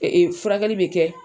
Ee furakɛli be kɛ